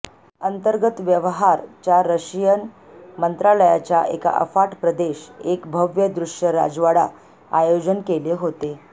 अंतर्गत व्यवहार च्या रशियन मंत्रालयाच्या एका अफाट प्रदेश एक भव्य दृश्य राजवाडा आयोजन केले होते